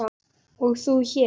og þú hér?